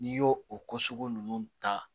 N'i y'o o ko sugu ninnu ta